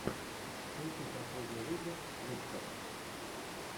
включи последний выпуск вудкок